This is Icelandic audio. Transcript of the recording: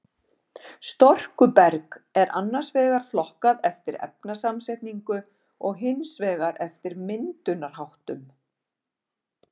Storkuberg er annars vegar flokkað eftir efnasamsetningu og hins vegar eftir myndunarháttum.